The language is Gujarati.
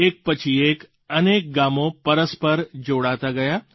એક પછી એક અનેક ગામો પરસ્પર જોડાતાં ગયાં